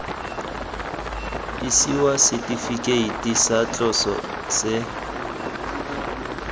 isiwa setifikeiti sa tloso se